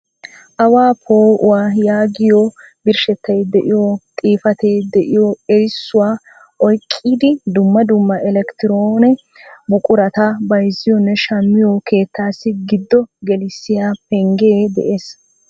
Awaa po'uwaa yaagiyo birshshetay de'iyo xifatee de'iyo erissuwaa oyqqidi dumma dumma elekkitroone buqurata bayzziyoonne shammiyoo keettassi giddo gelissiya pengge de'ees.